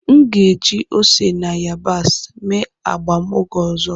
M ga-eji ose na yabasị mee agba m oge ọzọ.